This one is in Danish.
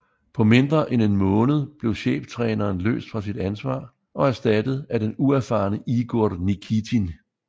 På mindre end en måned blev cheftræneren løst fra sit ansvar og erstattet af den uerfarne Igor Nikitin